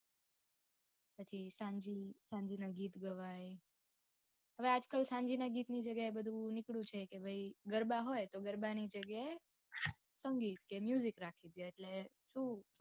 સાંજે ના ગીત ગવાય હવે આજકાલ સાંજના ગીત ની જગ્યાએ બધું નીકળ્યું છે કે ભાઈ ગરબા હોય તો ગરબાની જગ્યાએ સંગીત કે રાખી સકાય એટલે પૂરું